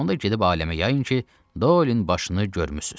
Onda gedib aləmə yayın ki, Doelin başını görmüsüz.